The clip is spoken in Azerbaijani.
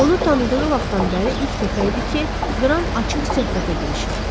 Onu tanıdığı vaxtdan bəri ilk dəfə idi ki, Qran açıq söhbətə girişirdi.